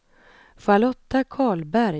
Charlotta Karlberg